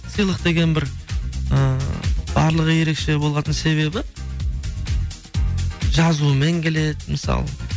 сыйлық деген бір ыыы барлығы ерекше болатын себебі жазуымен келеді мысалы